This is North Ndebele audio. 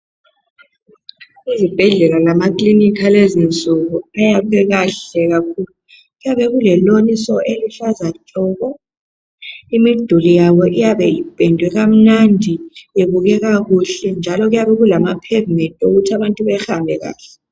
Izibhedlela lamaklinika alezinsuku , abayekahle kakhulu , kuyabe kule lawn so , eluhlaza tshoko imiduli yabo ipendiwe iyabe ipendiwe kamnandi ibukeka kuhle ,njalo kuyabe kulama pavement okuthi abantu behambe kuhle